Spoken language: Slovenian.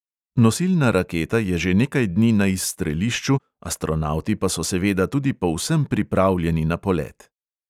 Nosilna raketa je že nekaj dni na izstrelišču, astronavti pa so seveda tudi povsem pripravljeni na polet.